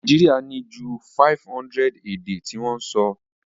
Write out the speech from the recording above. Naijiria ni ju 500 èdè ti won so